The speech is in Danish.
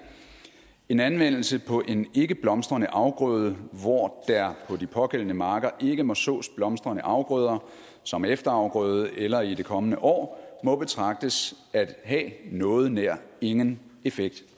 en anvendelse på en ikke blomstrende afgrøde hvor der på de pågældende marker ikke må sås blomstrende afgrøder som efterafgrøde eller i det kommende år må betragtes at have noget nær ingen effekt